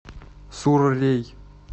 суррей